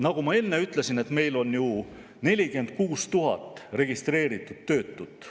Nagu ma enne ütlesin, on meil ju 46 000 registreeritud töötut.